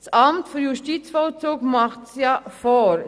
Das Amt für Justizvollzug macht es vor.